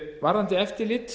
varðandi eftirlit